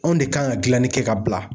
Anw de kan ka gilanni kɛ ka bila